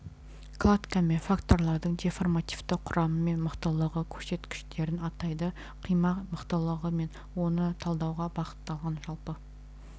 кладка мен факторлардың деформативті құрамы мен мықтылығы көрсеткіштерін атайды қима мықтылығы мен оны талдауға бағытталған жалпы